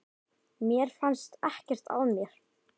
Mér fannst ekkert að mér.